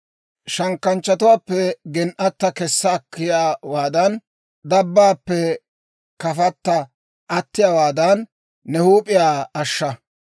Shankkanchchatuwaappe gen"atta kessa akkiyaawaadan, dabaappe kafatta attiyaawaadan, ne huup'iyaa ashsha.